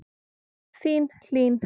Þín Hlín.